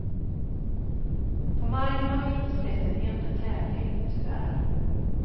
På marken har vi inte sett en enda tävling, tyvärr.